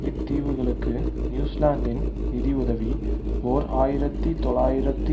இத் தீவுகளுக்கு நியூசிலாந்தின் நிதியுதவி ஓர் ஆயிரத்தி தொள்ளாயிரத்தி